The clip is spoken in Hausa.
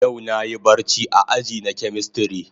Yau na Yi barci a aji na chemistry.